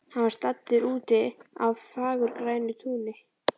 Hann var staddur úti á fagurgrænu túni.